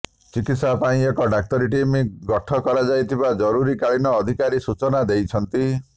ଚିକିତ୍ସା ପାଇଁ ଏକ ଡାକ୍ତରୀ ଟିମ୍ ଗଠ କରାଯାଇଥିବା ଜରୁରୀ କାଳୀନ ଅଧିକାରୀ ସୂଚନା ଦେଇଛନ୍ତି